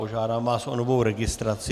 Požádám vás o novou registraci.